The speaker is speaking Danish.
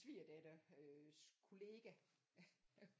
Svigerdatters kollega